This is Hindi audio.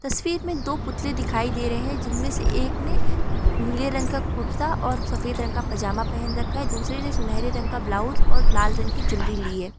तस्वीर में दो पुतले दिखाई दे रहे हैं जिनमें से एक ने नीले रंग का कुर्ता और सफेद रंग का पजामा पहन रखा है दूसरे ने सुनहरे रंग का ब्लाउज और लाल रंग की चुनरी ली है।